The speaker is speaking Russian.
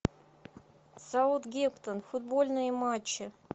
саутгемптон футбольные матчи